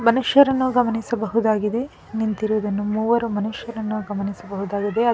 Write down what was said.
ಮನುಷ್ಯರನ್ನು ಗಮನಿಸಬಹುದಾಗಿದೆ ನಿಂತಿರುವುದನ್ನು ಮೂವರು ಮನುಷ್ಯರನ್ನ ಗಮನಿಸಬಹುದಾಗಿದೆ ಅದ್--